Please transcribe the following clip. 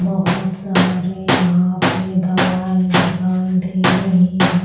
बहुत सारे यहां पे दवाई दिखाई दे रही हैं।